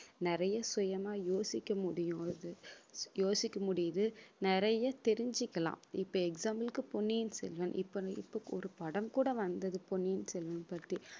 நிறைய சுயமா யோசிக்க முடியும் அது யோசிக்க முடியுது நிறைய தெரிஞ்சுக்கலாம். இப்ப example க்கு பொன்னியின் செல்வன் இப்ப இப்ப படம் கூட வந்தது பொன்னியின் செல்வன் பத்தி